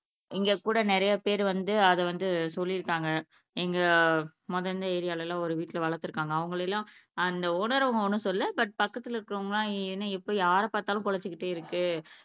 இங்ககூட நிறையப்பேர் வந்து அதை வந்து சொல்லிருக்காங்க எங்க முதல்ல இருந்த ஏரியால எலலாம் ஒரு வீட்ல வளர்த்துருக்காங்க அவங்களை எல்லாம் அந்த ஒனர் அம்மா ஒன்னும் சொல்லல பட் பக்கத்துல இருக்குறவங்க எல்லாம் என்ன யாரைப் பாத்தாலும் குலைச்சுகிட்டே இருக்கு